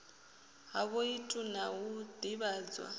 ha voutu na u ḓivhadzwa